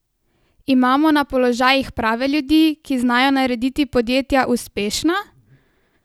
Imamo na položajih prave ljudi, ki znajo narediti podjetja uspešna?